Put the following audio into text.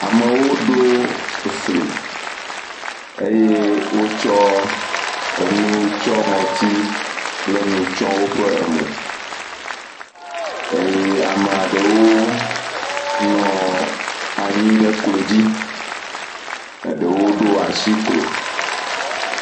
Amewo ɖo fli eye wotsɔ enu tsɔ ŋɔti kple nu tsɔ emo eye ame aɖewo nɔ anyi ɖe klodzi, ɖewo ɖo asi klo.